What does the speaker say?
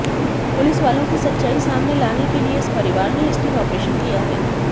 पुलिसवालों की सच्चाई सामने लाने के लिए इस परिवार ने ये स्टिंग ऑपरेशन किया है